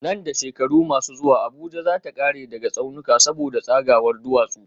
Nan da shekaru masu zuwa Abuja za ta kare daga tsaunuka saboda tsagawar duwatsu